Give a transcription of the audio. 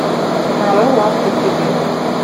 нарой лавка чудес